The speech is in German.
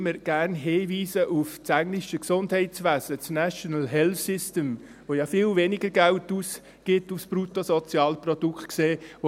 Ich weise immer gerne auf das englische Gesundheitswesen hin, den «National Health Service (NHS)» der bezogen auf das Bruttosozialprodukt ja viel weniger Geld ausgibt.